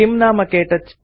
किं नाम क्तौच